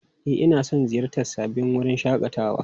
E, ina son ziyartar sabbin wuraren shakatawa.